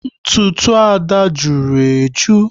Ntụtụ Ada jụrụ eju